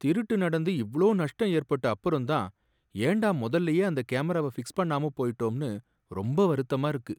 திருட்டு நடந்து இவளோ நஷ்டம் ஏற்பட்ட அப்புறம் தான் ஏன்டா முதல்லையே அந்த கேமராவை பிக்ஸ் பண்ணாம போயிட்டோம்னு ரொம்ப வருத்தமா இருக்கு.